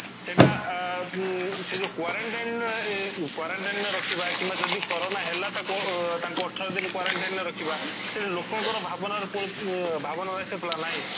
ଏଇଟା ଆଁ ଉଁ ସେ ଯୋଉ quarantine ରେ ଏଁ ଯୋଉ quarantine ରେ ରଖିବା କିମ୍ବା ଯଦି corona ହେଲା ତାକୁ ଉ ତାଙ୍କୁ ଅଠର ଦିନ quarantine ରେ ରଖିବା ତେଣୁ ଲୋକ ଙ୍କର ଭାବନାର ପୁଣି